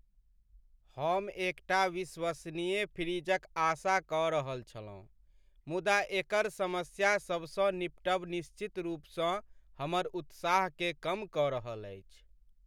हम एकटा विश्वसनीय फ्रिजक आशा कऽ रहल छलहुँ, मुदा एकर समस्या सबसँ निपटब निश्चित रूपसँ हमर उत्साहकेँ कम कऽ रहल अछि।